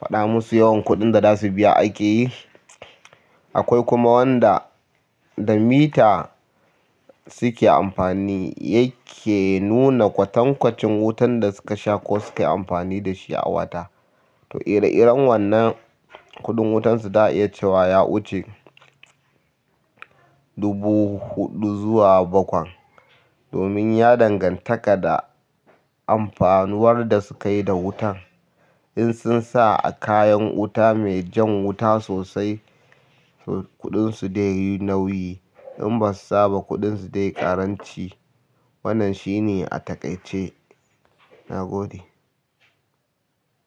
faɗa musu yawan kuɗin da za su biya ake yi. Akwai kuma wanda da mita suke amfani yake nuna kwatankwacin wutan da suka sha ko suke amfani da shi a wata. To, ire-iren wannan kuɗin wutansu za a iya cewa ya wuce dubu huɗu zuwa bakwan domin ya dangantaka da amfanuwar da sukayi da wutan. In sun sa a kayan wuta mai jan wuta sosai, to kuɗinsu dai yi nauyi. In basu saba, kuɗinsu dai ƙaranci. Wannan shi ne a taƙaice.